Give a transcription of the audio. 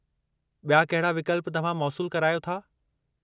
बि॒या कहिड़ा विकल्प तव्हां मौसूल करायो था ?